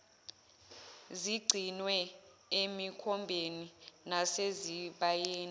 zigcinwe emikhombeni nasezibayeni